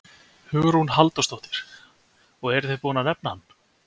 Hugrún Halldórsdóttir: Og eruð þið búin að nefna hann?